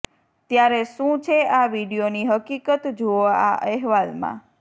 ત્યારે શું છે આ વીડિયોની હકીકત જુઓ આ અહેવાલમાં